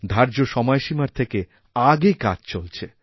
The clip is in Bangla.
ধার্য সময়সীমার থেকে আগে কাজ চলছে